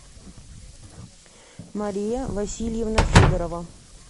мария васильевна федорова